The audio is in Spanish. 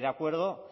de acuerdo